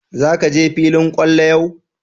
Za ka je filin kwallo yau?